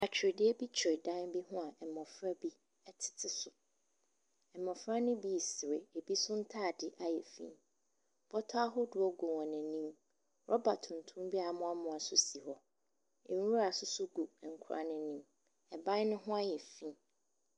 Atwediɛ bi twere dan bi ho a mmɔfra bi ɛtete so. Mmɔfra no bi sere, ebi nso ntaade ayɛ finn. Bɔtɔ ahoɔdoɔ gu wɔn anim. Rubber tuntum bi amoamoa nso si hɔ. Nwura nso gu nkwadaa n'anim. Ɛban no ho ayɛ finn.